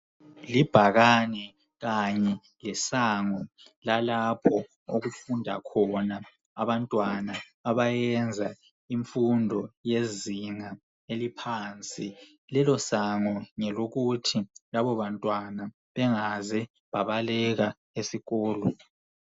Libhakane kanye lesango lalapho okufunda khona abantwana abayenza imfundo yezinga eliphansi. Lelo sango ngelokuthi labo bantwana bengaze babaleka ezikolo.